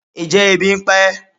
Njẹ ebí n pa e?